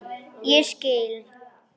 Ég skil